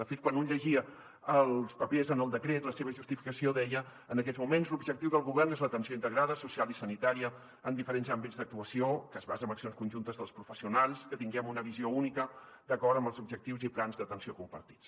de fet quan un llegia els papers en el decret la seva justificació deia en aquests moments l’objectiu del govern és l’atenció integrada social i sanitària en diferents àmbits d’actuació que es basa en accions conjuntes dels professionals que tinguem una visió única d’acord amb els objectius i plans d’atenció compartits